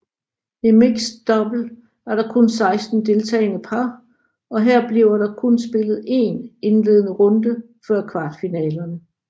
I mixed double er der kun 16 deltagende par og her bliver der kun spillet én indledende runder før kvartfinalerne